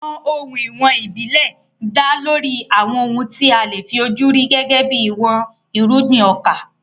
Àwọn ohun ìwọ̀n ìbílẹ̀ dá lórí àwọn ohun tí a lè fi ojú rí gẹ́gẹ́ bí ìwọ̀n irúgbìn ọkà.